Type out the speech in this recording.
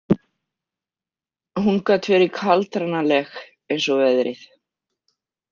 Hún gat verið kaldranaleg, eins og veðrið.